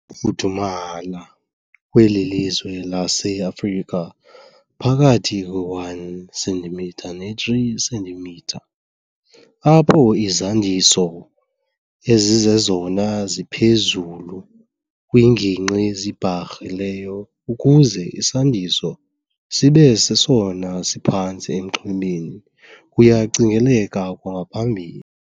fudumala kweli lizwe laseAfrika phakathi kwe 1 cm ne 3 cm, apho izandiso ezizezona ziphezulu kwiinginqi ezibharhileyo ukuze isandiso sibe sesona siphantsi enxwemeni, kuyacingeleka kwangaphambili.